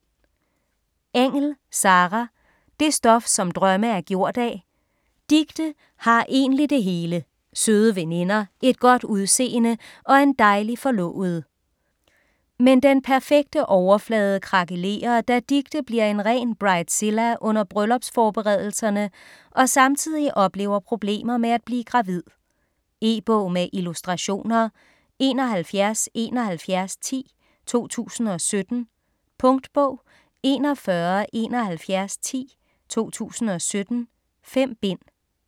Engell, Sarah: Det stof som drømme er gjort af Dicte har egentlig det hele; søde veninder, et godt udseende og en dejlig forlovede. Men den perfekte overflade krakelerer, da Dicte bliver en ren bridezilla under bryllupsforberedelserne og samtidig oplever problemer med at blive gravid. E-bog med illustrationer 717110 2017. Punktbog 417110 2017. 5 bind.